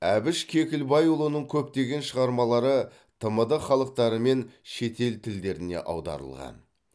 әбіш кекілбайұлының көптеген шығармалары тмд халықтары мен шетел тілдеріне аударылған